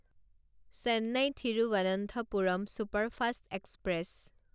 Chennai Thiruvananthapuram superfast express